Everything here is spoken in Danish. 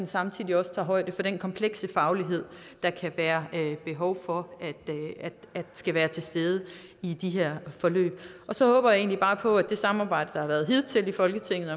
samtidig også tager højde for den komplekse faglighed der kan være behov for skal være til stede i de her forløb så håber jeg egentlig bare på at det samarbejde der har været hidtil i folketinget